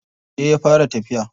Yauce ya fara tafiya.